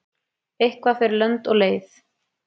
Eitthvað fer lönd og leið